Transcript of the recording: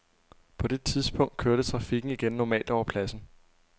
På det tidspunkt kørte trafikken igen normalt over pladsen.